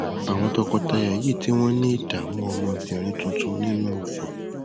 àwọn tọkọtaya yìí tí wọn ní ìdààmú ọmọbìnrin tuntun nínú òfin